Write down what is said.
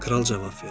Kral cavab verir.